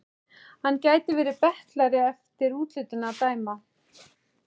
Hann gæti verið betlari eftir útlitinu að dæma.